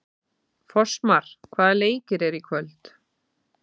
Fossmar, hvaða leikir eru í kvöld?